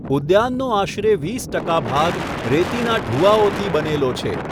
ઉદ્યાનનો આશરે વીસ ટકા ભાગ રેતીના ઢૂવાઓથી બનેલો છે.